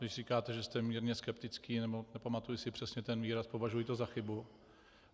Když říkáte, že jste mírně skeptický, nebo nepamatuji si přesně ten výraz, považuji to za chybu.